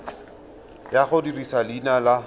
ya go dirisa leina la